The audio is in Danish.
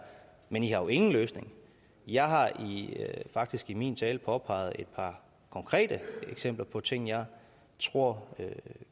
men i har jo ingen løsning jeg har faktisk i min tale påpeget et par konkrete eksempler på ting jeg tror